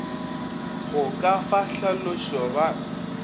go ka fa hlalošo ba